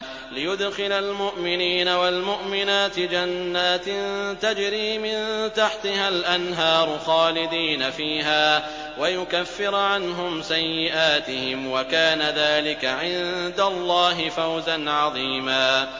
لِّيُدْخِلَ الْمُؤْمِنِينَ وَالْمُؤْمِنَاتِ جَنَّاتٍ تَجْرِي مِن تَحْتِهَا الْأَنْهَارُ خَالِدِينَ فِيهَا وَيُكَفِّرَ عَنْهُمْ سَيِّئَاتِهِمْ ۚ وَكَانَ ذَٰلِكَ عِندَ اللَّهِ فَوْزًا عَظِيمًا